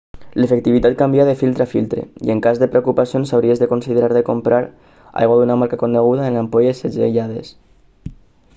l'efectivitat canvia de filtre a filtre i en cas de preocupacions hauries de considerar de comprar aigua d'una marca coneguda en ampolles segellades